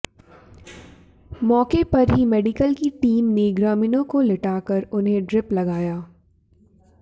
मौके पर ही मेडिकल की टीम ने ग्रामीणों को लिटाकर उन्हें ड्रिप लगाया